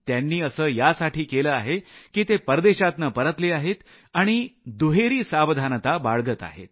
त्यांनी असं यासाठी केलं आहे की ते परदेशातनं परतले आहेत आणि दुहेरी सावधानता बाळगत आहेत